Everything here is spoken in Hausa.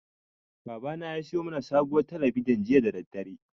Babana ya siyo mana sabuwar talabijin jiya da daddare.